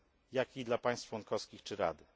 jak i dla państw członkowskich czy Rady.